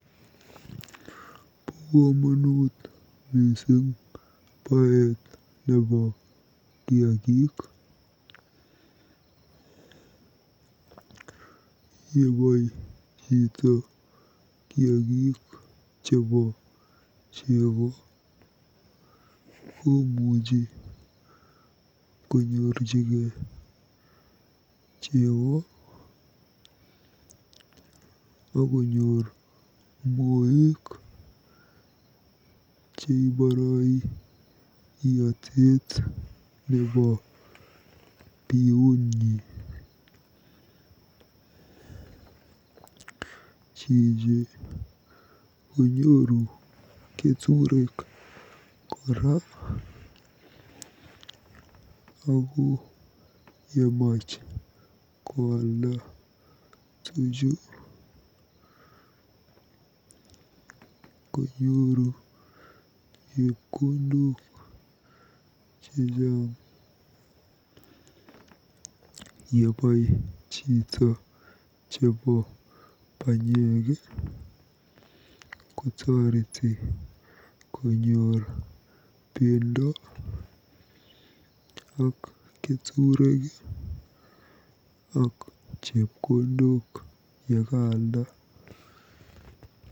Bo komonut mising baet nebo kiagik. Yebai chito kiagik chebo chego komuchi konyorjigei jebo akonyor moek cheiboroi iotet nebo biutnyi. Jiji konyooru keturek kora ako yemach koalda tuchu konyooru chepkondok chechang. Yebai chito chebo panyek kotoreti konyor bendo ak keturek ak chepkondok yekaalda.